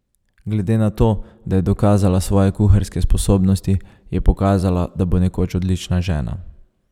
Glede na to, da je dokazala svoje kuharske sposobnosti, je pokazala, da bo nekoč odlična žena.